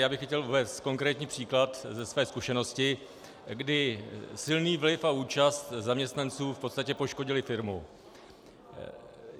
Já bych chtěl uvést konkrétní příklad ze své zkušenosti, kdy silný vliv a účast zaměstnanců v podstatě poškodily firmu.